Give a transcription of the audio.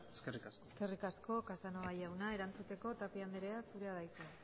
eskerrik asko eskerrik asko casanova jauna erantzuteko tapia andrea zurea da hitza